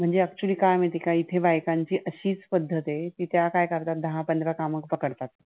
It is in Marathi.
म्हणजे, actually काय आहे माहित आहे का? इथे बायकांची अशीच पद्धत आहे, कि त्या काय करतात दहा पंधरा कामं पकडतात.